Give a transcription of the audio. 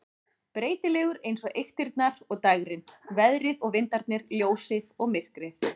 Breytilegur eins og eyktirnar og dægrin, veðrið og vindarnir, ljósið og myrkrið.